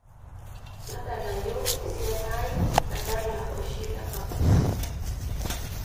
tadalayu esiana ai nadala oshi le kapuka